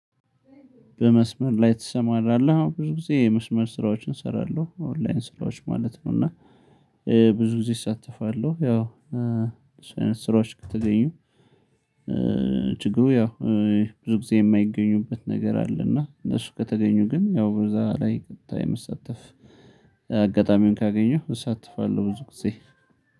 በመስመር ላይ ትሰማራለህ? አዎን ብዙ ጊዜ የመስመር ስራዎችን እሰራለሁ ኦንላይን ስራዎች ማለት ነው። እና ብዙ ጊዜ እሳተፋለሁ ያው እሱ አይነት ስራዎች ከተገኙ። ችግሩ ያው ብዙ ጊዜ የማይገኙበት ነገር አለ። እና እነሱ ከተገኙ ግን ያው በዛ ላይ ቀጥታ የምሳተፍ አጋጣሚውን ካገኘሁ እሳተፋለሁ። ብዙ ጊዜ